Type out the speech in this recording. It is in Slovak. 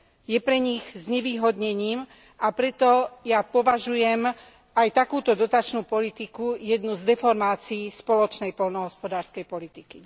Je pre nich znevýhodnením, a preto ja považujem aj takúto dotačnú politiku za jednu z deformácií spoločnej poľnohospodárskej politiky.